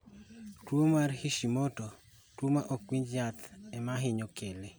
Tuwo mar Hishimoto, tuwo ma ok winj yath, ema ohinyo kele